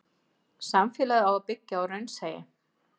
Samfélagið á að byggja á raunsæi.